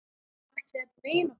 Ætli þetta megi nokkuð?